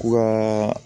Ka